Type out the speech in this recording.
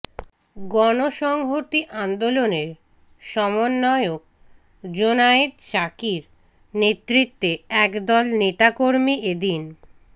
গণসংহতি আন্দোলনের সমন্বয়ক জোনায়েদ সাকির নেতৃত্বে একদল নেতাকর্মী এদিন